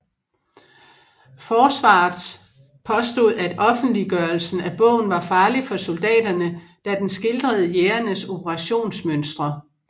Forsvarets påstod at offentliggørelsen af bogen var farlig for soldaterne da den skildrede jægerenes operationsmønstre